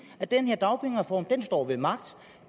at den her dagpengereform står ved magt